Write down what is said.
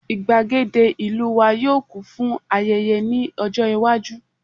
igbagede ìlú wa yíò kún fún ayẹyẹ ní ọjọ iwaju